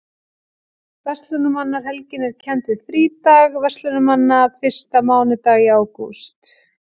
Verslunarmannahelgin er kennd við frídag verslunarmanna fyrsta mánudag í ágúst.